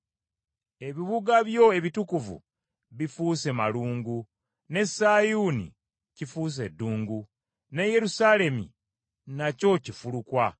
Ebibuga byo ebitukuvu bifuuse malungu ne Sayuuni kifuuse ddungu, ne Yerusaalemi nakyo kifulukwa.